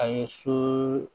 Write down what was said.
A ye so